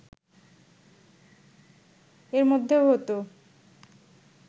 এরমধ্যেও হতো